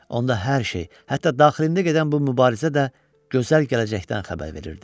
Onda hər şey, hətta daxilində gedən bu mübarizə də gözəl gələcəkdən xəbər verirdi.